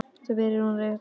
spyr hún beint út.